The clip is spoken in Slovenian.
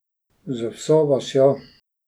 Z vso vasjo.